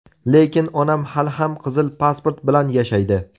Lekin onam hali ham qizil pasport bilan yashaydi.